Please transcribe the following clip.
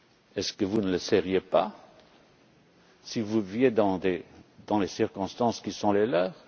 Est ce que vous ne le seriez pas si vous viviez dans les circonstances qui sont les